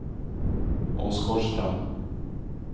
Åsgårdstrand